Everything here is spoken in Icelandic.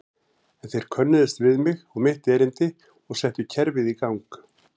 En þeir könnuðust við mig og mitt erindi og settu kerfið í gang.